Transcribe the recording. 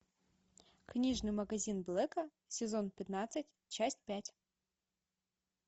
книжный магазин блэка сезон пятнадцать часть пять